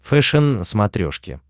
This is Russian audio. фэшен на смотрешке